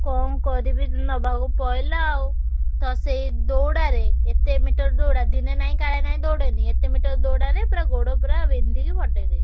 କଣ କରିବି ନବାକୁ ପଇଲା ଆଉ ତ ସେଇ ଦୌଡା ରେ ଏତେ ମିଟର ଦୌଡା ଦିନେ ନାହିଁ କାଳେ ନାହିଁ ଦୌଡେନି ଏତେ ମିଟର ଦୌଡ ରେ ପୁରା ଗୋଡ ପୁରା ବିନ୍ଧିକି। ଫଟେଇଦଉଛି।